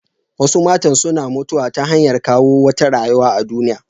Wasu matan suna mutuwa ta hanyar kawo wata rayuwa a duniya.